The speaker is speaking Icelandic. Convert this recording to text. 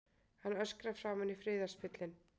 Hann öskrar framan í friðarspillinn.